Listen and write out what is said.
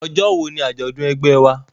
Ọjọ́ wo ni àjọ̀dún ẹgbẹ́ ẹ wa?